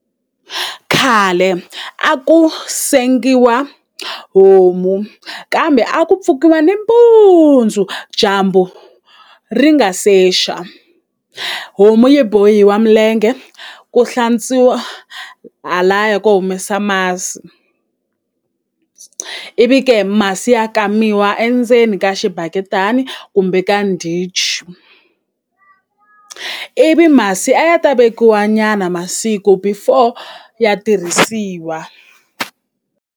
Khale a ku sengiwa homu kambe a ku pfukiwa ni mpundzu dyambu ri nga se xa homu yi bohiwa milenge ku hlantswiwa halaya ko humesa masi ivi ke masi ya kamiwa endzeni ka xibaketani kumbe ka ndichi ivi masi a ya ta vekiwa nyana masiku before ya tirhisiwa.